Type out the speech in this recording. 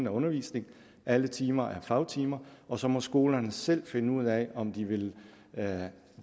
af undervisning at alle timer skal fagtimer og så må skolerne selv finde ud af om de vil